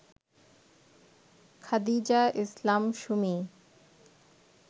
Khadija Islam Sumi